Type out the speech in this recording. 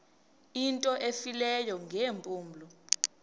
into efileyo ngeempumlo